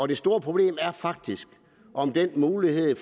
det store problem er faktisk om den mulighed